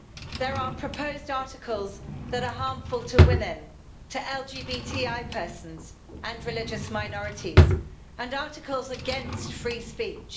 There are proposed articles that are harmful to women, to LGBTI persons and religious minorities, and articles against free speech.